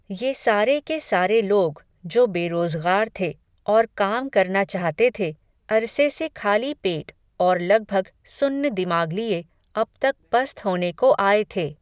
ये सारे के सारे लोग, जो बेरोज़ग़ार थे, और काम करना चाहते थे, अरसे से खाली पेट, और लगभग, सुन्न दिमाग लिये, अब तक पस्त होने को आये थे